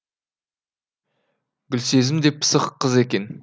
гүлсезім де пысық қыз екен